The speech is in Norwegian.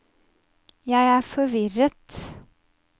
jeg er forvirret